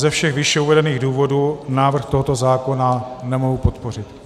Ze všech výše uvedených důvodů návrh tohoto zákona nemohu podpořit.